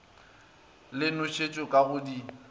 le nošetšo ka go di